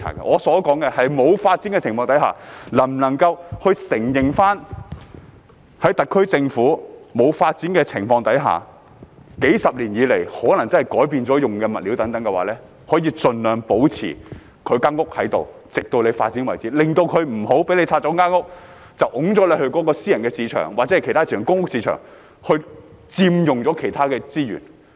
我要說的是，在沒有發展的情況之下，特區政府可否承認數十年來使用的物料可能真的改變了，盡量保留房屋，直至發展為止，以免居民在房屋清拆後被推到私人、公屋或其他市場，因而佔用了其他資源？